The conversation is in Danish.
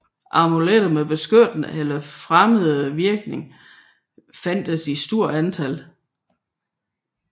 Amuletter med beskyttende eller fremmende virkning fandtes i stort antal